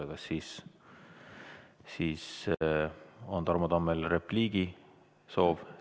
Kas siis on Tarmo Tammel repliigisoov?